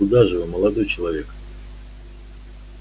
куда же вы молодой человек